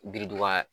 Biriduga